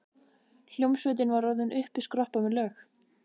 Hljómsveitin var orðin uppiskroppa með lög.